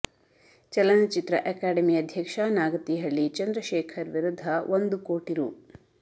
ಚಲನಚಿತ್ರ ಅಕಾಡೆಮಿ ಅಧ್ಯಕ್ಷ ನಾಗತಿಹಳ್ಳಿ ಚಂದ್ರಶೇಖರ್ ವಿರುದ್ಧ ಒಂದು ಕೋಟಿ ರು